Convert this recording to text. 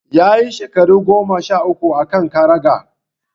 Ya yi shekara goma sha uku a kan karagar.